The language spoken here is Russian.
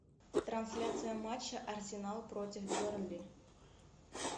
трансляция матча арсенал против бернли